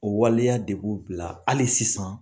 O waleya de b'u bila hali sisan